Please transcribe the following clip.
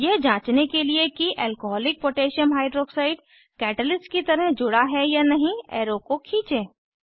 यह जांचने के लिए कि एल्कोहोलिक पोटैशियम हाइड्रॉक्साइड alcकोह कैटलिस्ट की तरह जुड़ा है या नहीं एरो को खींचें